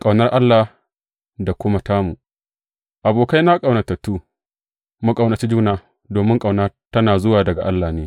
Ƙaunar Allah da kuma tamu Abokaina ƙaunatattu, mu ƙaunaci juna, domin ƙauna tana zuwa daga Allah ne.